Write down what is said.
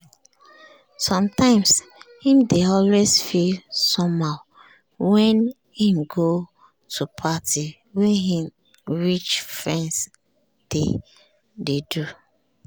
sometimes him dey always feel somehow wen him go to party wey him rich friends dey do